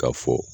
Ka fɔ